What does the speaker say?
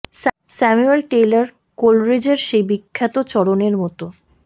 Samuel Taylor কোলরিজের সেই বিখ্যাত চরণের মতো ডধঃবৎ ধিঃবৎ বাবৎুযিবৎব হড়ৎ ধহু ফৎড়ঢ় ঃড় ফৎরহশ